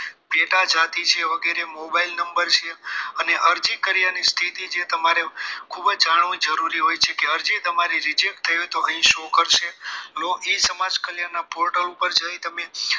પેટા જાતિ વગેરે છે mobile number છે અને અરજી કર્યા ની જે સ્થિતિ જે તમારે ખૂબ જ જાણવું જરૂરી હોય છે કે અરજી તમારી reject થયેલ હોય તો અહીં show કરશે લોગ ઈ સમાજ કલ્યાણના portal ઉપર જઈ તમે